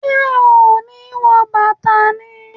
Ṣe o ni wọ bàtà ni?